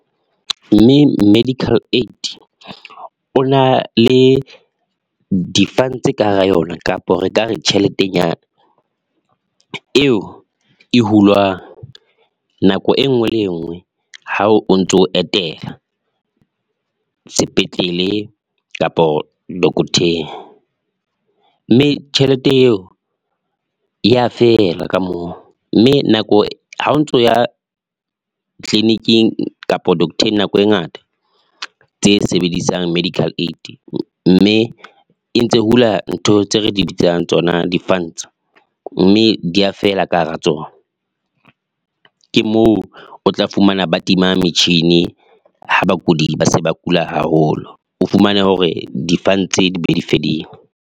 Mme medical aid o na le di-funds ka hara yona kapa re ka re tjheletenyana eo e hulwang nako e nngwe le e nngwe, ha o ntso etela sepetlele kapa dokotheng mme tjhelete eo ya fela ka moo. Mme nako ha o ntso ya clinic-ing kapa dokotheng nako e ngata tse sebedisang medical aid, mme e ntse hula ntho tse re di bitsang tsona di-funds mme di a fela ka hara tsona. Ke moo o tla fumana ba tima metjhini ha bakudi ba se ba kula haholo. O fumane hore di-funds be di fedile.